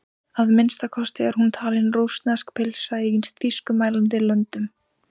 Að minnsta kosti er hún talin sem rússnesk pylsa í þýskumælandi löndum.